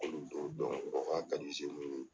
t'o dɔn u ko a ka di ye.